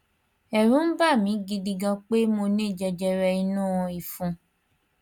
ẹrù ń bà mi gidi gan pé mo ní jẹjẹrẹ inú ìfun